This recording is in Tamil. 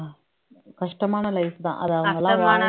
கஷ்டமான life தான் அத அவுங்கெல்லாம்